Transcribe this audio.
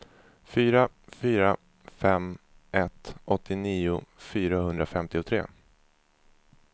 fyra fyra fem ett åttionio fyrahundrafemtiotre